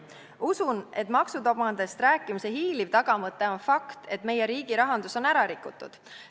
Usun, et maksudogmadest rääkimise hiiliv tagamõte on fakt, et meie riigi rahandus on ära rikutud.